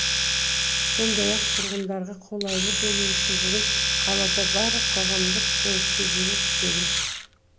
сондай ақ тұрғындарға қолайлы болуы үшін бүгін қалада барлық қоғамдық көлікте жүру тегін